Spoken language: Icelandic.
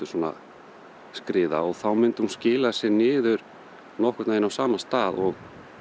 svona skriða og þá myndi hún skila sér niður nokkurn veginn á sama stað og